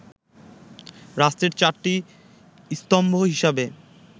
রাষ্ট্রের চারটি স্তম্ভ হিসেবে